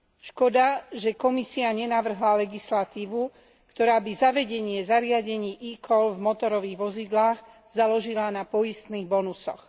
Škoda, že Komisia nenavrhla legislatívu, ktorá by zavedenie zariadení e call v motorových vozidlách založila na poistných bonusoch.